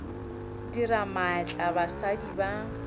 dira ka maatla basadi ba